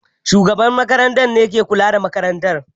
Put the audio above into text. Shugaban makarantar ne ke kula da makarantar.